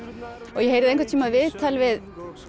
ég heyrði einhvern tímann viðtal við